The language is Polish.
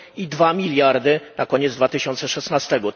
i dwa miliardy na koniec 2016 r.